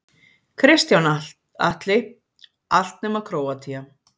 Kristján Atli: Allt nema Króatía.